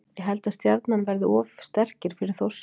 Ég held að Stjarnan verði of sterkir fyrir Þórsara.